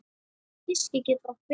Hyski getur átt við